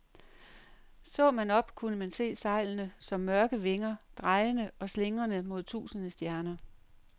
Så man op, kunne man se sejlene som mørke vinger, drejende og slingrende mod tusinde stjerner.